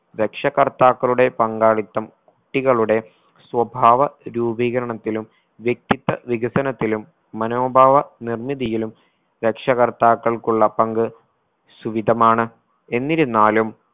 രക്ഷകർത്താക്കളുടെ പങ്കാളിത്തം കുട്ടികളുടെ സ്വഭാവ രൂപീകരണത്തിലും വ്യക്തിത്വ വികസനത്തിലും മനോഭാവ നിർമ്മിതിയിലും രക്ഷാകർത്താക്കൾക്കുള്ള പങ്ക് സുവിധമാണ് എന്തിരുന്നാലും